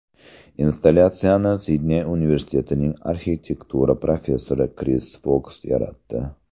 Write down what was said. Installyatsiyani Sidney universitetining arxitektura professori Kris Foks yaratdi.